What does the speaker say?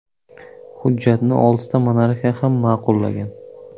Hujjatni oltita monarxiya ham ma’qullagan.